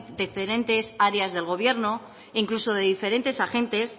diferentes áreas del gobierno e incluso de diferentes agentes